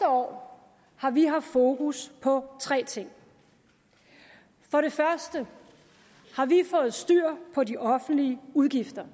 år har vi haft fokus på tre ting for det første har vi fået styr på de offentlige udgifter